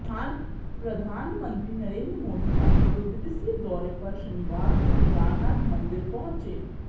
प्रधानमंत्री नरेंद्र मोदी अपने दो दिवसीय दौरे पर शनिवार को केदारनाथ मंदिर पहुंचे